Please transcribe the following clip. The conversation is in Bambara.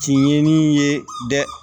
Tiɲeni ye dɛ